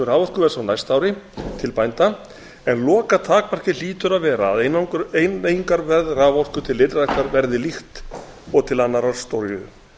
raforkuverðs á næsta ári til bænda en lokatakmarkið hlýtur að vera að verð raforku til ylræktar verði líkt og til annarrar stóriðju